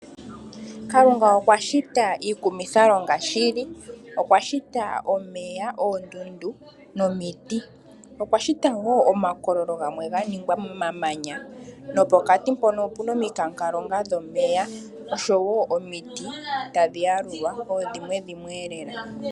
Kalunga okwa shita iikumithalonga shili. Okwa shita omeya, oondundu nomiti. Okwa shita wo omakololo gamwe ga ningwa momamanya, nopokati mpono opuna omikankalonga dhomeya, oshowo omiti tadhi yalulwa koodhimwe dhimwe elela.